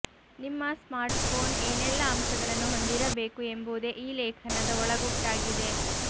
ನಿಮ್ಮ ಸ್ಮಾರ್ಟ್ಫೋನ್ ಏನೆಲ್ಲಾ ಅಂಶಗಳನ್ನು ಹೊಂದಿರಬೇಕು ಎಂಬುದೇ ಈ ಲೇಖನದ ಒಳಗುಟ್ಟಾಗಿದೆ